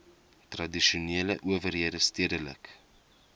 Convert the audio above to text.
tradisionele owerhede stedelike